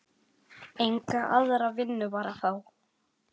Enga aðra vinnu var að fá.